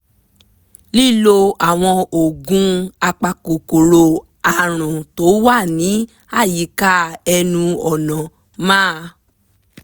lílo àwọn oògùn apakòkòrò àrùn tó wà ní àyíká ẹnu ọ̀nà máa